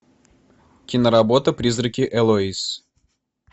киноработа призраки элоиз